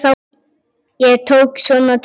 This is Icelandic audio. Ég tók svona til orða.